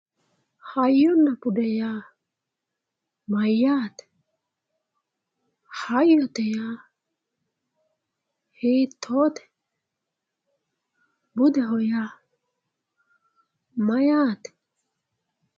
hayyonna bude yaa mayaate hayyote yaa hittoote budeho yaa mayaate